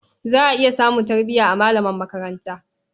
Za a iya samun tarbiya a malaman makaranta.